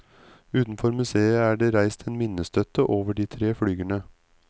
Utenfor museet er det reist en minnestøtte over de tre flygerne.